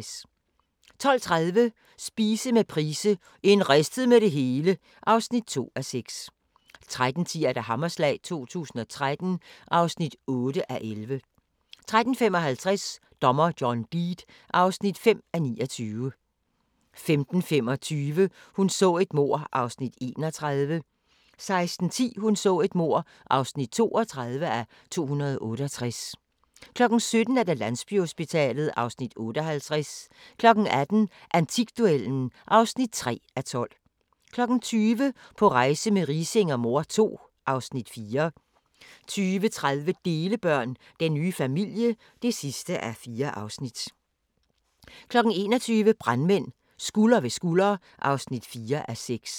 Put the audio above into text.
12:30: Spise med Price - en ristet med det hele (2:6) 13:10: Hammerslag 2013 (8:11) 13:55: Dommer John Deed (5:29) 15:25: Hun så et mord (31:268) 16:10: Hun så et mord (32:268) 17:00: Landsbyhospitalet (Afs. 58) 18:00: Antikduellen (3:12) 20:00: På rejse med Riising og mor II (Afs. 4) 20:30: Delebørn – Den nye familie (4:4) 21:00: Brandmænd – Skulder ved skulder (4:6)